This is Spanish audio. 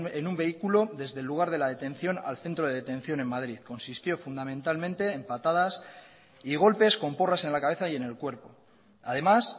en un vehículo desde el lugar de la detención al centro de detención en madrid consistió fundamentalmente en patadas y golpes con porras en la cabeza y en el cuerpo además